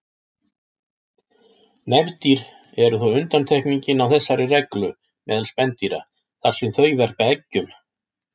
Nefdýr eru þó undantekningin á þessari reglu meðal spendýra þar sem þau verpa eggjum.